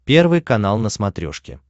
первый канал на смотрешке